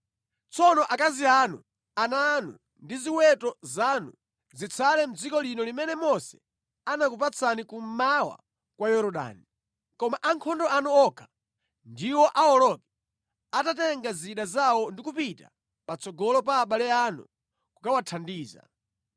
Tsono akazi anu, ana anu ndi ziweto zanu zitsale mʼdziko lino limene Mose anakupatsani kummawa kwa Yorodani. Koma ankhondo anu okha ndiwo awoloke atatenga zida zawo ndi kupita patsogolo pa abale anu kukawathandiza.